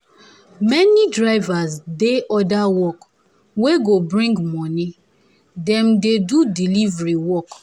many drivers dey other work wey go bring moni dem dey do delivery work.